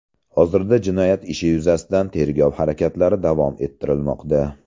Hozirda jinoyat ishi yuzasidan tergov harakatlari davom ettirilmoqda.